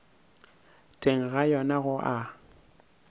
teng ga yona go a